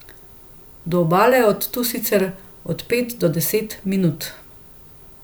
Do obale je od tu sicer od pet do deset minut.